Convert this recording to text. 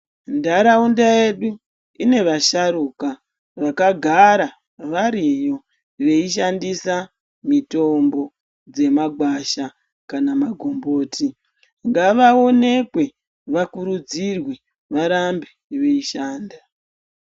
Ndaraunda yeduu ine vasharuka vakagara variyo veyishandisa mitombo dzemagwasha kana makomboti ngavaonekwe vakurudzirwe varambe veyishanda.